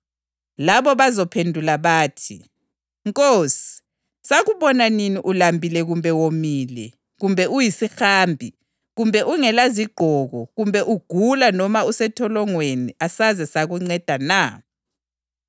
ngangiyisihambi kalinginxuselanga endlini, ngangiswele izembatho kalingigqokisanga, ngangigula njalo ngisentolongweni kalizange lingethekelele.’